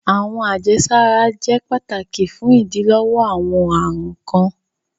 Awọn ajesara jẹ pátàkì fún idílọ́wọ́ awọn arùn kan.